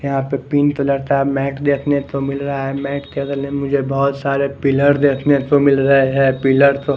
यहाँ पे पिन तो लड़ता है मैट देखने को मिल रहा है मैट के गले मुझे बहुत सारे पिलर देखने को मिल रहे हैं पिलर तो --